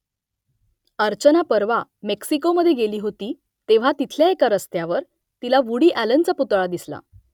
अर्चना परवा मेक्सिकोमधे गेली होती तेव्हा तिथल्या एका रस्त्यावर तिला वूडी अॅलनचा पुतळा दिसला